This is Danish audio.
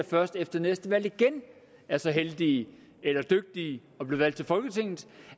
først efter næste valg igen er så heldige eller dygtige